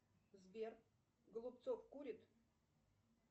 сбер голубцов курит